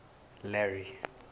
larry